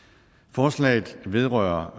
forslaget vedrører